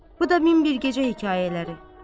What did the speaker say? Bu da min bir gecə hekayələri.